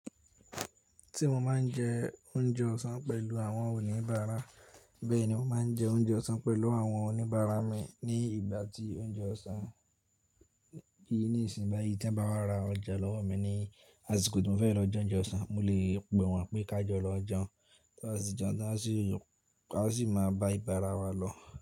Tí mo máa ń jẹ oúnjẹ ọ̀sán pẹ̀lú àwọn oníbàárà, bẹ́ẹ̀ ni mo máa ń jẹ oúnjẹ ọ̀sán pẹ̀lú àwọn oníbàárà mi ní ìgbà tí oúnjẹ ọ̀sán yí ní ìsìn. Báyìí tí ẹ̀ bá wá ra ọjà lọ́wọ́ mi ní àsìkò tí mo fẹ́ lọ jẹ oúnjẹ ọ̀sán, mo lè pè wọ́n pé ká jọ lọ jẹun. Tá bá tí jẹun tán a sì yó a sì máa bá ibàrà wa lọ.